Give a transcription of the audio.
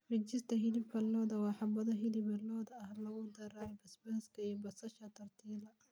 Fajitas hilibka lo'da waa xabbado hilib lo'aad ah oo lagu daray basbaaska iyo basasha tortilla.